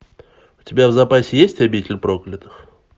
у тебя в запасе есть обитель проклятых